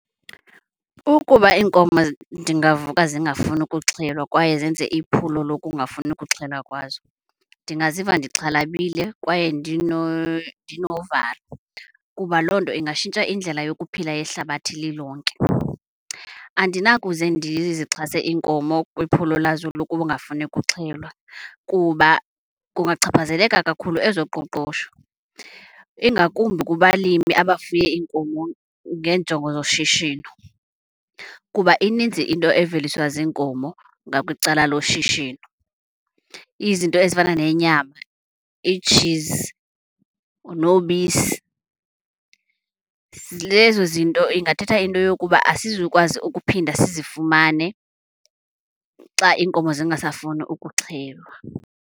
Ukuba iinkomo ndingavuka zingafuni ukuxhelwa kwaye zenze iphulo lokungafuni ukuxhelwa kwazo, ndingaziva ndixhalabile kwaye ndinovalo kuba loo nto ingatshintsha indlela yokuphila yehlabathi lilonke. Andinakuze ndizixhase iinkomo kwiphulo lazo lokungafuni kuxhelwa kuba kungachaphazeleka kakhulu ezoqoqosho, ingakumbi kubalimi abafuye iinkomo ngeenjongo zoshishino. Kuba ininzi into eveliswa ziinkomo ngakwicala loshishino, izinto ezifana nenyama, iitshizi nobisi. Lezo zinto ingathetha into yokuba asizukukwazi ukuphinda sizifumane xa iinkomo zingasafuni ukuxhelwa.